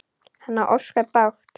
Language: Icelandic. Hann á ósköp bágt.